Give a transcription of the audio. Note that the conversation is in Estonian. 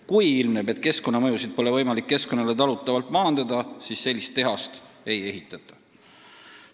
Kui ilmneb, et keskkonnamõjusid pole võimalik keskkonnale talutavalt maandada, siis sellist tehast ei ehitata.